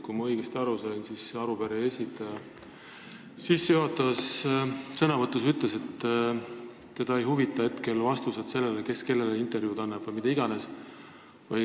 Kui ma õigesti aru sain, siis ütles arupärimise esitajate esindaja sissejuhatavas sõnavõtus, et teda ei huvita vastus sellele, kes kellele intervjuusid annab vms.